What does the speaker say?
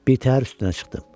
Birtəhər üstünə çıxdım.